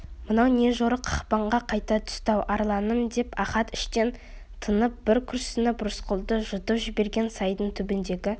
мынау не жорық қақпанға қайта түсті-ау арланым деп ахат іштен тынып бір күрсініп рысқұлды жұтып жіберген сайдың түбіндегі